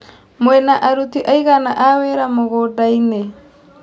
Mwĩna aruti aigana a wĩra mũgũndainĩ.